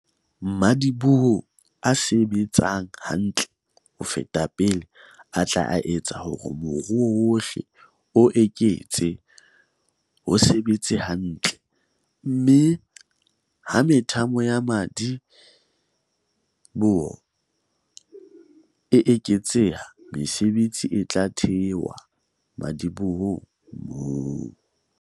Madiboho a se-betsang hantle ho feta pele a tla etsa hore moruo wohle o eketse ho sebetsa hantle - mme ha methamo ya madi-boho e eketseha, mesebetsi e tla thewa madibohong moo.